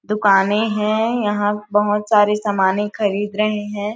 दुकाने है यहाँ बहुत सारे सामाने खरीद रहे हैं ।